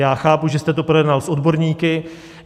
Já chápu, že jste to projednal s odborníky.